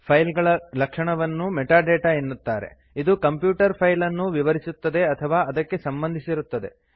file ಗಳ ಲಕ್ಷಣವನ್ನು metadata ಎನ್ನುತ್ತಾರೆ ಇದು ಕಂಪ್ಯೂಟರ್ ಫೈಲ್ ಅನ್ನು ವಿವರಿಸುತ್ತದೆ ಅಥವಾ ಅದಕ್ಕೆ ಸಂಬಂಧಿಸಿರುತ್ತದೆ